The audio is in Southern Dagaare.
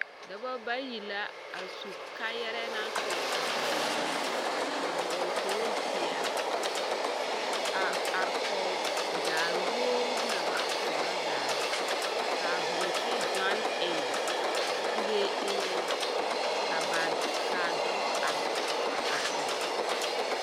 Dɔbɔ bayi la a su kaayɛrɛɛ na tuuri pɔɡe ba minne a hɔɔl kpool peɛle a are kɔɡe daare woori na ba poɔrɔ zaa ka hoomsii ɡyɔn eŋ kuree eŋɛ ka a dɔbɔ are kɔɡe.